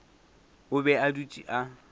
o be a dutše ka